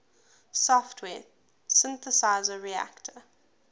software synthesizer reaktor